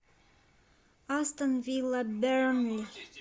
астон вилла бернли